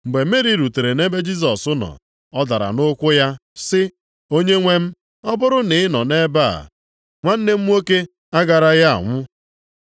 Mgbe Meri rutere nʼebe Jisọs nọ, ọ dara nʼụkwụ ya sị, “Onyenwe m, ọ bụrụ na ị nọ nʼebe a, nwanne m nwoke agaraghị anwụ.”